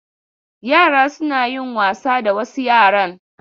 Yara suna yin wasa da wasu yaran..